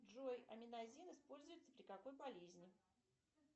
джой аминазин используется при какой болезни